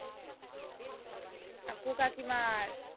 কাকু কাকিমার?